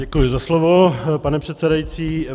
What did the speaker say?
Děkuji za slovo, pane předsedající.